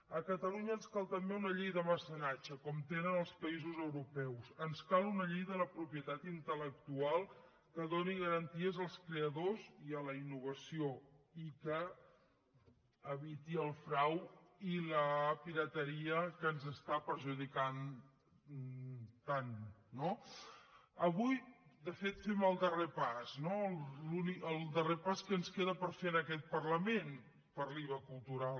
a catalunya ens cal també una llei de mecenatge com tenen els països europeus ens cal una llei de la propietat intel·lectual que doni garanties als creadors i a la innovació i que eviti el frau i la pirateria que ens està perjudicant tant no avui de fet fem el darrer pas no el darrer pas que ens queda per fer en aquest parlament per l’iva cultural